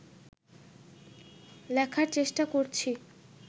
লেখার চেষ্টা করছি